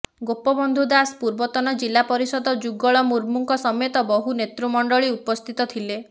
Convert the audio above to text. ଗୋପବନ୍ଧୁ ଦାସ ପୂର୍ବତନ ଜିଲ୍ଲା ପରିଷଦ ଯୁଗଳ ମୁର୍ମୁଙ୍କସମେତ ବହୁ ନେତୃମଣ୍ଡଳୀ ଉପସ୍ଥିତ ଥିଲେ